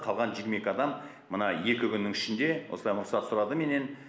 қалған жиырма екі адам мына екі күннің ішінде осылай рұқсат сұрады менен